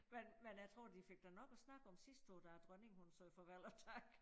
Men men jeg tror de fik da nok og snak om sidste år da dronningen sagde farvel og tak